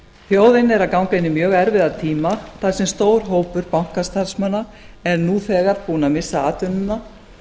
þjóðin er að ganga inn í mjög erfiða tíma þar sem stór hópur bankastarfsmanna er nú þegar búinn að missa atvinnuna